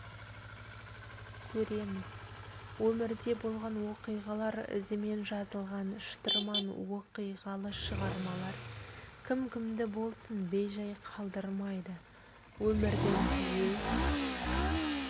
көреміз өмірде болған оқиғалар ізімен жазылған шытырман оқиғалы шығармалар кім-кімді болсын бей-жай қалдырмайды өмірдің өз